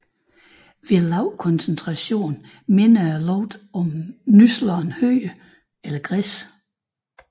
Ved lav koncentration minder dets lugt om nyslået hø eller græs